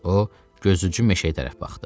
O gözücü meşəyə tərəf baxdı.